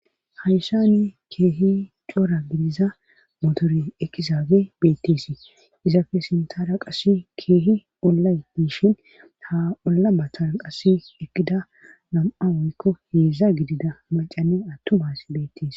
hayssani keehi cora gidiza motore eqizaabe beetteesii izappe sintara qasi keehi ollay miishin ha olla batara qasi ekida nam'a woykko heedza gidida macane attumabaas beettees